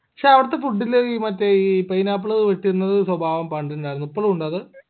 ക്ഷേ അവടത്തെ food ൻറെയിൽ മറ്റെ ഈ pineapple ഇട്ടിരുന്നത് സ്വഭാവം പണ്ടിണ്ടായിരുന്നു ഇപ്പളു ഇണ്ട അത്